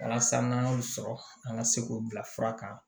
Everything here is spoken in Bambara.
Walasa n'an y'o sɔrɔ an ka se k'o bila fura kan